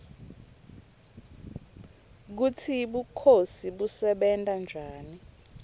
kutsi bukhosi bebusebenta njani